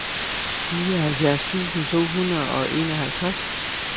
nioghalvfjerds tusind to hundrede og enoghalvtreds